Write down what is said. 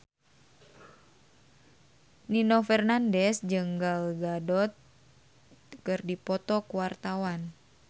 Nino Fernandez jeung Gal Gadot keur dipoto ku wartawan